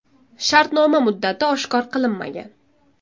Shartnoma muddati oshkor qilinmagan.